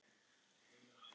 Faðir minn sagði þetta ætíð.